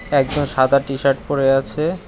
একজন সাদা টিশার্ট পরে আছে।